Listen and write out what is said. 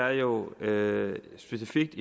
er jo specifikt